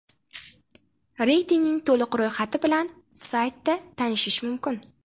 Reytingning to‘liq ro‘yxati bilan saytida tanishish mumkin.